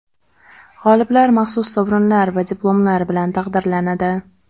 G‘oliblar maxsus sovrinlar va diplomlar bilan taqdirlanadi.